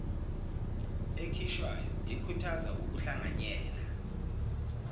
ekhishwayo ekhuthaza ukuhlanganyela